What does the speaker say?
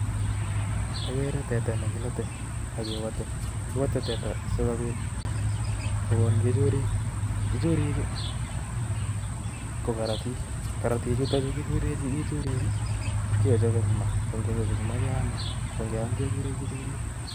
Agere teta ne kilate akewate. Kiwate teta sikobiit kokon kichuurik. Kichuriik ko kokorotik. Korortik chutochu kikure kichuriik, ipkechape eng' maa. Kongechop eng' maa keame. ko ngeam kegure kichuriik